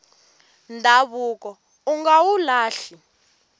ndhavuko unga wu lahli